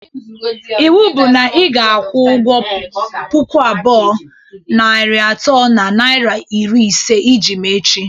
Iwu bụ na ị ga-akwu ụgwọ puku abụọ, narị atọ na naira iri ise iji m echi!